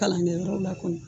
Kalan kɛ yɔrɔ